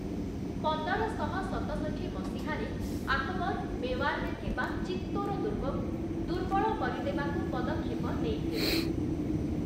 ପନ୍ଦରଶହ ସତଷଠି ମସିହାରେ, ଆକବର ମେୱାର୍‌ରେ ଥିବା ଚିତ୍ତୋର ଦୁର୍ଗକୁ ଦୁର୍ବଳ କରିଦେବାକୁ ପଦକ୍ଷେପ ନେଇଥିଲେ ।